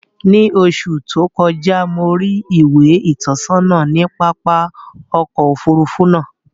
Ni oṣù tó kọjá, mo rí ìwé ìtọ́sọ́nà ní pápá ọkọ̀ Òfurufú náà